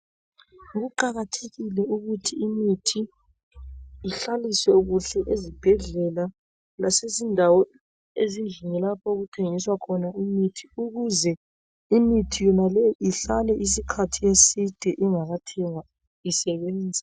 Kuqakathekile ukuthi imithi ihlaliswe kuhle ezibhedlela lasezindawo ezindlini lapho okuthengiswa khona imithi ukuze imithi yona leyi ihlale isikhathi eside ingakathengwa isebenze.